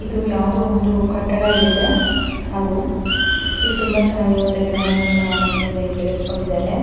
ಇದು ಯಾವುದೊ ಒಂದು ಕಟ್ಟಡ ಇಲ್ಲಿದೆ ಹಾಗು ಇಲ್ ತುಂಬ ಚೆನ್ನಾಗಿ ಇರುವಂಥ ಗಿಡ ಮರಗಳನ್ನ ಮನೆ ಮುಂದೆ ಇಲ್ಲಿ ಬೆಳೆಸಿಕೊಂಡಿದ್ದಾರೆ.